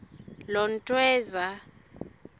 lontweza